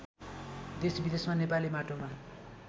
देशविदेशमा नेपाली माटोमा